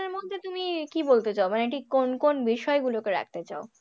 মধ্যে তুমি কি বলতে চাও মানে ঠিক কোন কোন বিষয়গুলোকে রাখতে চাও?